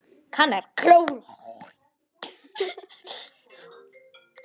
Kann að klóra.